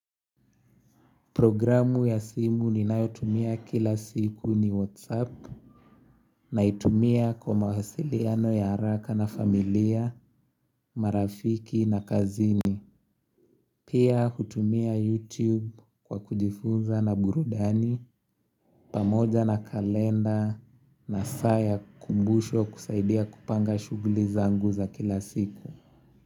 Programu ya simu ninayotumia kila siku ni whatsapp naitumia kwa mawasiliano ya haraka na familia, marafiki na kazini Pia hutumia youtube kwa kujifunza na burudani pamoja na kalenda na saa ya kumbusho kusaidia kupanga shughuli zangu za kila siku.